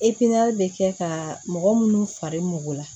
bɛ kɛ ka mɔgɔ munnu far'u mɔgɔ la